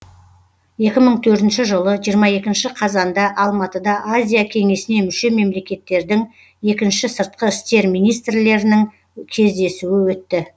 екі мың төртінші жылы жиырма екінші қазанда алматыда азия кеңесіне мүше мемлекеттердің екінші сыртқы істер министрлерінің кездесуі өтті